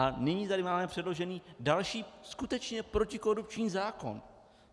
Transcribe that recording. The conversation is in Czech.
A nyní tady máme předložený další skutečně protikorupční zákon.